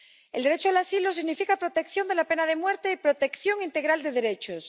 El derecho al asilo significa protección de la pena de muerte y protección integral de derechos.